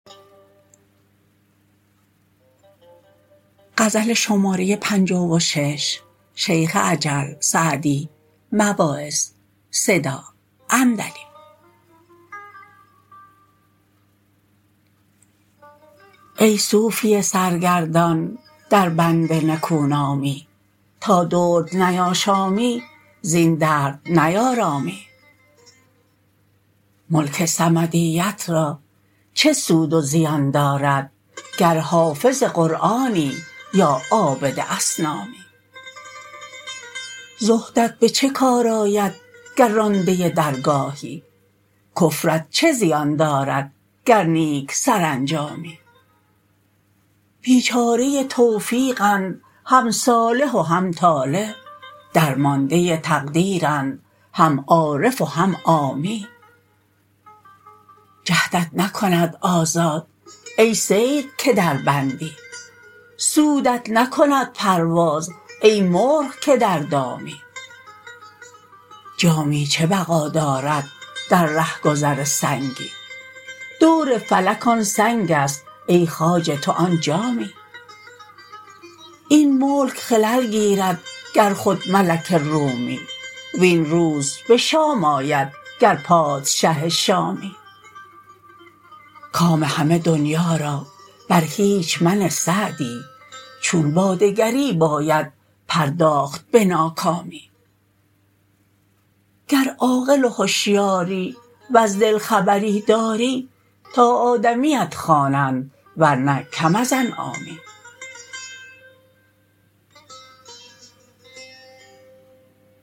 ای صوفی سرگردان در بند نکونامی تا درد نیاشامی زین درد نیارامی ملک صمدیت را چه سود و زیان دارد گر حافظ قرآنی یا عابد اصنامی زهدت به چه کار آید گر رانده درگاهی کفرت چه زیان دارد گر نیک سرانجامی بیچاره توفیقند هم صالح و هم طالح درمانده تقدیرند هم عارف و هم عامی جهدت نکند آزاد ای صید که در بندی سودت نکند پرواز ای مرغ که در دامی جامی چه بقا دارد در رهگذر سنگی دور فلک آن سنگ است ای خواجه تو آن جامی این ملک خلل گیرد گر خود ملک رومی وین روز به شام آید گر پادشه شامی کام همه دنیا را بر هیچ منه سعدی چون با دگری باید پرداخت به ناکامی گر عاقل و هشیاری وز دل خبری داری تا آدمیت خوانند ورنه کم از انعامی